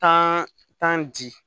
Tan tan ji